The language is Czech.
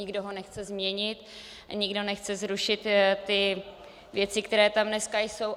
Nikdo ho nechce změnit, nikdo nechce zrušit ty věci, které tam dneska jsou.